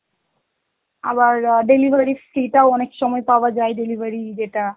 আবার আ delivery free টাও অনেক সময় পাওয়া যায়, delivery যেটা